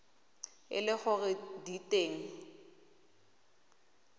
e le gore di teng